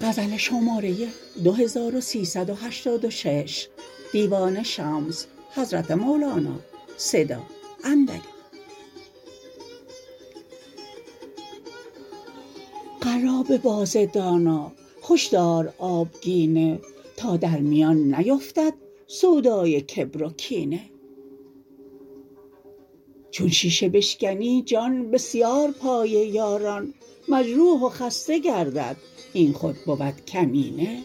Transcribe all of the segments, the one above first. قرابه باز دانا هش دار آبگینه تا در میان نیفتد سودای کبر و کینه چون شیشه بشکنی جان بسیار پای یاران مجروح و خسته گردد این خود بود کمینه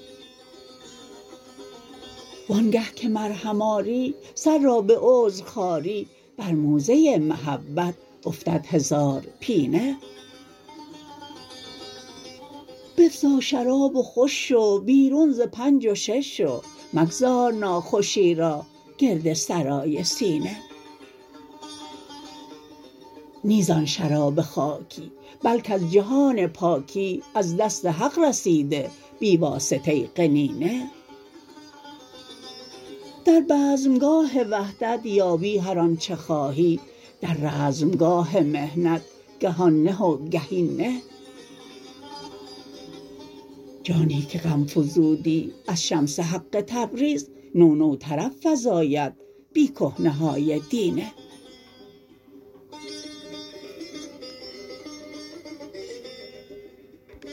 وآنگه که مرهم آری سر را به عذر خاری بر موزه محبت افتد هزار پینه بفزا شراب و خوش شو بیرون ز پنج و شش شو مگذار ناخوشی را گرد سرای سینه نی زان شراب خاکی بل کز جهان پاکی از دست حق رسیده بی واسطه قنینه در بزمگاه وحدت یابی هر آنچ خواهی در رزمگاه محنت که آن نه و که این نه جانی که غم فزودی از شمس حق تبریز نو نو طرب فزاید بی کهنه های دینه